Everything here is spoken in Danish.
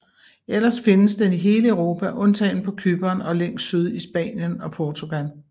Ellers findes den i hele Europa undtagen på Cypern og længst syd i Spanien og Portugal